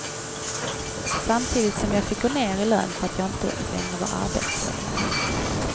Samtidigt som jag fick gå ner i lön för att jag inte längre var arbetsledare.